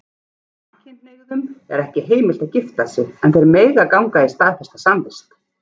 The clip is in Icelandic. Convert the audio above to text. Samkynhneigðum er ekki heimilt að gifta sig, en þeir mega ganga í staðfesta samvist.